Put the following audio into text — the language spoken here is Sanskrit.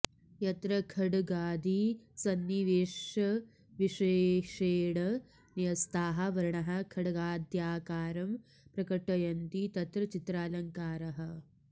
यत्र खड्गादि सन्निवेशविशेषेण न्यस्ताः वर्णाः खड्गाद्याकारं प्रकटयन्ति तत्र चित्रालङ्कारः